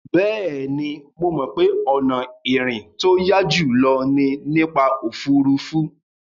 Bẹ́ẹ̀ni, mo mọ̀ pé ọ̀nà ìrìn tó yá jùlọ ni nípa òfuurufú.